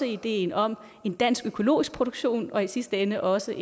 ideen om en dansk økologisk produktion og i sidste ende også